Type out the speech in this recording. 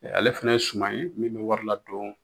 ale fɛnɛ ye suma ye min bɛ wari ladɔn